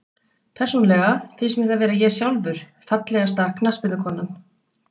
Persónulega finnst mér það vera ég sjálfur Fallegasta knattspyrnukonan?